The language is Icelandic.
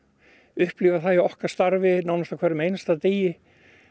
upplifa það í okkar starfi nánast á hverjum einasta degi